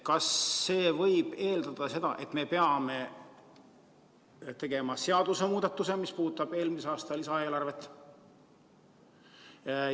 Kas sellest võib eeldada, et me peame tegema seadusemuudatuse, mis puudutab eelmise aasta lisaeelarvet?